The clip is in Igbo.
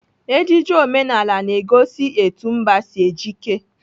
Ejiji omenala na-egosi etu mba si ejike.